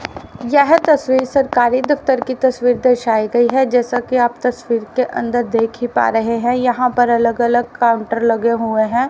यह तस्वीर सरकारी दफ्तर की तस्वीर दर्शाई गई है जैसा कि आप तस्वीर के अंदर देख ही पा रहे हैं यहां पर अलग अलग काउंटर लगे हुए हैं।